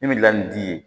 Min bɛ laɲini t'i ye